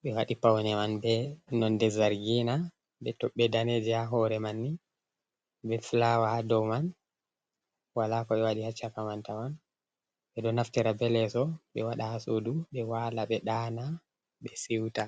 ɓe waɗi paune man be nonde zargina be tobbe daneje, ha hore man ni be flawa ha dow man wala ko ɓe waɗi ha caka man tawan ɓe ɗo naftira be leso be wada ha sudu ɓe wala ɓe daana ɓe siuta.